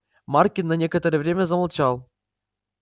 маркин на некоторое время замолчал